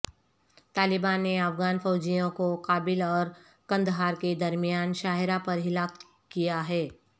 طالبان نے افغان فوجیوں کو کابل اور قندھار کے درمیان شاہراہ پر ہلاک کیا ہے